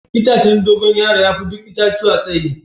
Itacen Dogo yaro ya fi duk itatuwa tsayi.